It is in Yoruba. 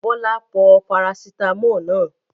Bọ́lá pọ parasítámọ̀ náà?